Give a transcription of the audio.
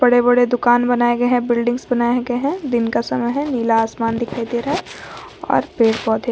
बड़े बड़े दुकान बनाए गए हैं बिल्डिंग्स बनाए गए है दिन का समय है नीला आसमान दिखाई दे रहा है और पेड़ पौधे --